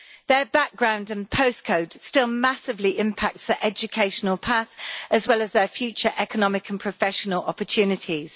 Their background and postcode still massively impact their educational path, as well as their future economic and professional opportunities.